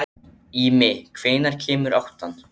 Ími, hvenær kemur áttan?